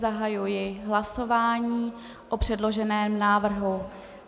Zahajuji hlasování o předloženém návrhu.